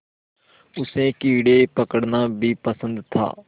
उसे कीड़े पकड़ना भी पसंद था